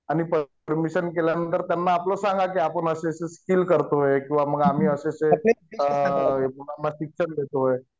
आणि परमिशन केल्यानंतर त्यांना आपलं सांगा कि आपण असं असं स्किल करतोय किंवा मग आम्ही असे असे मुलांना शिक्षण देतोय